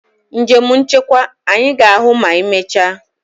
Njem nchekwa! Anyị ga-ahụ ma emechaa.